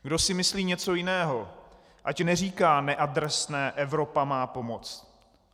Kdo si myslí něco jiného, ať neříká neadresné: Evropa má pomoct.